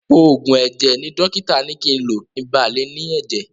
Òògùn ẹ̀jẹ̀ ni dọ́kítà ni ki ń lo kin ba lè ní ẹ̀jẹ̀.